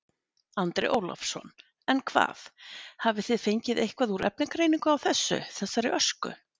Andri Ólafsson: En hvað, hafið þið fengið eitthvað úr efnagreiningu á þessu, þessari ösku?